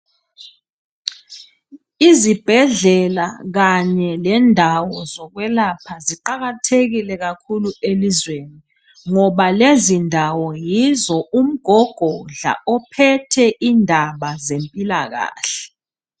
Izibhedlela kanye lendawo zokwelapha ziqakathekile kakhulu elizweni ngoba lezindawo yizo u mgogodla ophethe indaba ezempilakahle.